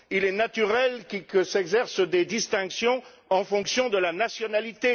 Il est naturel que s'exercent des distinctions en fonction de la nationalité.